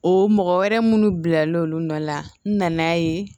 O mɔgɔ wɛrɛ minnu bila l'olu nɔ la nan'a ye